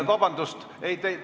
Vabandust!